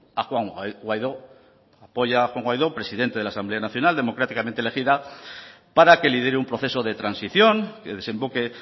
a juan guaidó apoya a juan guaidó presidente de la asamblea nacional democráticamente elegida para que lidere un proceso de transición que desemboque